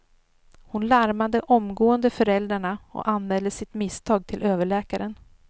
Hon larmade omgående föräldrarna och anmälde sitt misstag till överläkaren.